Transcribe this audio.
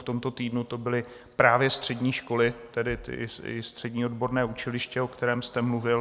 V tomto týdnu to byly právě střední školy, tedy i střední odborné učiliště, o kterém jste mluvil.